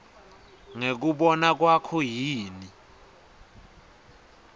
ngekubona kwakho yini